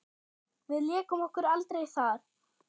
Við lékum okkur aldrei þar.